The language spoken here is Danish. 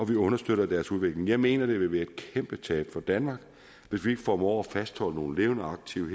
vi understøtter deres udvikling jeg mener det vil være et kæmpe tab for danmark hvis vi ikke formår at fastholde nogle levende aktive